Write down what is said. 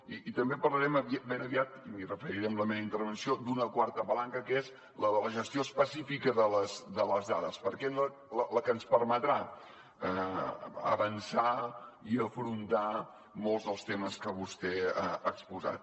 i també parlarem ben aviat i m’hi referiré en la meva intervenció d’una quarta palanca que és la de la gestió específica de les dades la que ens permetrà avançar i afrontar molts dels temes que vostè ha exposat